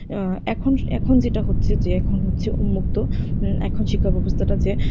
এখন এখন যেটা হচ্ছে যে এখন হচ্ছে উন্মুক্ত উম এখন শিক্ষাব্যবস্থাটাতে,